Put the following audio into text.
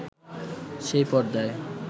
সেই পর্দায়